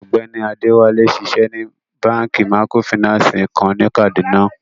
Ọgbẹni Adewale nṣíṣẹ ní bankí mìkrófínànsí kan ni Kaduna.